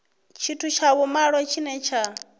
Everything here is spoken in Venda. tshithu tsha vhumalo tshine tsha